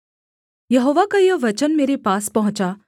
यहोवा का यह वचन मेरे पास पहुँचा